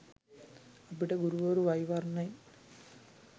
අපිට ගුරුවරු වෛවර්ණයෙන්